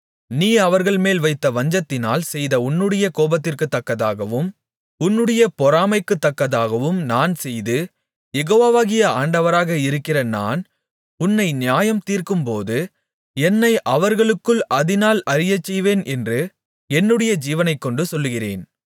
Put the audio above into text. நீ அவர்கள்மேல் வைத்த வஞ்சத்தினால் செய்த உன்னுடைய கோபத்திற்குத்தக்கதாகவும் உன்னுடைய பொறாமைக்குத்தக்கதாகவும் நான் செய்து யெகோவாகிய ஆண்டவராக இருக்கிற நான் உன்னை நியாயம்தீர்க்கும்போது என்னை அவர்களுக்குள் அதினால் அறியச்செய்வேன் என்று என்னுடைய ஜீவனைக்கொண்டு சொல்லுகிறேன்